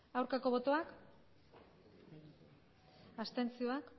aurkako botoak abstentzioa